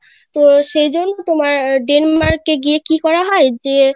তো সেইজন্য তোমার Denmark এ গিয়ে কি করা হয় যে